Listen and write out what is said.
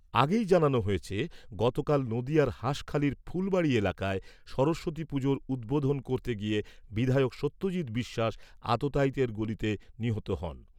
আগেই জানানো হয়েছে , গতকাল নদীয়ার হাসখালির ফুলবাড়ি এলাকায় সরস্বতী পুজোর উদ্বোধন করতে গিয়ে বিধায়ক সত্যজিত বিশ্বাস আততায়ীদের গুলিতে নিহত হন।